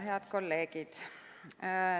Head kolleegid!